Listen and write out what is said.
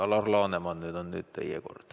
Alar Laneman, nüüd on teie kord.